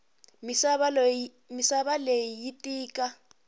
misava leyi yi tika